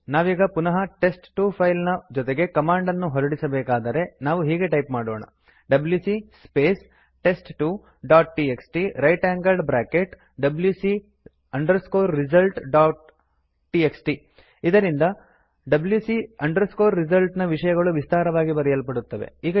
ನಾವೀಗ ಪುನಃ test two file ನ ಜೊತೆಗೆ ಕಮಾಂಡ್ ಅನ್ನು ಹೊರಡಿಸಬೇಕಾದರೆ ನಾವು ಹೀಗೆ ಟೈಪ್ ಮಾಡೋಣ ಇದರಿಂದ wc resultsನ ವಿಷಯಗಳು ವಿಸ್ತಾರವಾಗಿ ಬರೆಯಲ್ಪಡುತ್ತದೆ